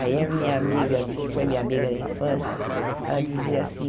Aí a minha amiga, que foi minha amiga na infância, ela dizia assim...